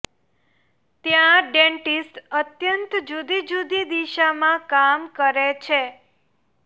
ત્યાં ડેન્ટીસ્ટ અત્યંત જુદી જુદી દિશામાં કામ કરે છે